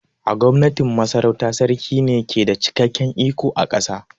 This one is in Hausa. A Gwamnatin Masarauta, Sarki ne ke da cikakken iko a ƙasa